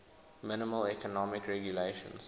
minimal economic regulations